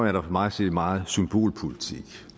er der for mig at se meget symbolpolitik